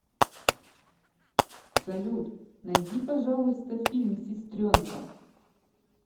салют найди пожалуйста фильм сестренка